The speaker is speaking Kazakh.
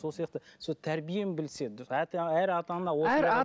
сол сияқты сол тәрбиені білсе әр ата ана осындай